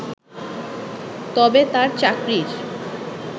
তবে তার চাকরির